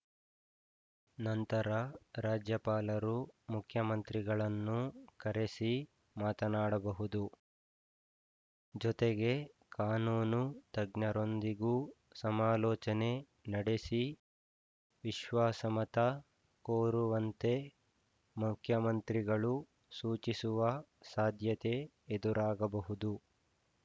ನಂತರ ರಾಜ್ಯಪಾಲರು ಮುಖ್ಯಮಂತ್ರಿಗಳನ್ನೂ ಕರೆಸಿ ಮಾತನಾಡಬಹುದು ಜೊತೆಗೆ ಕಾನೂನು ತಜ್ಞರೊಂದಿಗೂ ಸಮಾಲೋಚನೆ ನಡೆಸಿ ವಿಶ್ವಾಸಮತ ಕೋರುವಂತೆ ಮುಖ್ಯಮಂತ್ರಿಗಳು ಸೂಚಿಸುವ ಸಾಧ್ಯತೆ ಎದುರಾಗಬಹುದು